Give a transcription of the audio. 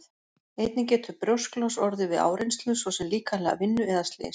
Einnig getur brjósklos orðið við áreynslu svo sem líkamlega vinnu eða slys.